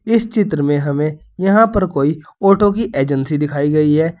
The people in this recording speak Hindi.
इस चित्र में हमे यहां पर कोई ऑटो की एजेंसी दिखाई गई है।